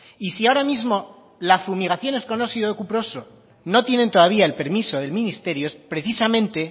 y si ahora mismo las fumigaciones con óxido cuproso no tienen todavía el permiso del ministerio es precisamente